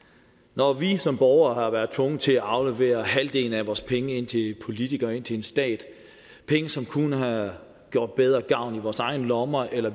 når vi som borgere har været tvunget til at aflevere halvdelen af vores penge ind til politikere og ind til en stat penge som kunne have gjort bedre gavn i vores egne lommer eller